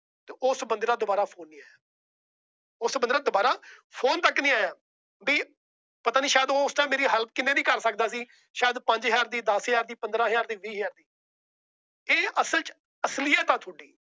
ਉਸ ਬੰਦੇ ਦਾ ਦੁਬਾਰਾ Phone ਨਹੀਂ ਆਇਆ। ਉਸ ਬੰਦੇ ਦਾ ਦੁਬਾਰਾ Phone ਤੱਕ ਨਹੀਂ ਆਇਆ। ਬੀ ਪਤਾ ਨਹੀਂ ਉਹ ਮੇਰੀ help ਉਸ Time ਕਿਵੇਂ ਵੀ ਕਰ ਸਕਦਾ ਸੀ। ਸ਼ਾਇਦ ਪੰਜ ਹਜ਼ਾਰ ਦੀ, ਦੱਸ ਹਜ਼ਾਰ ਦੀ, ਪੰਦਰਾਂ ਹਜ਼ਾਰ ਦੀ ਜਾ ਵੀਹ ਹਜ਼ਾਰ। ਇਹ ਅਸਲ ਚ ਅਸਲੀਅਤ ਏ ਤੁਹਾਡੀ